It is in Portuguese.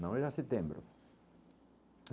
Não, era setembro.